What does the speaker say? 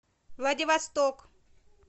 владивосток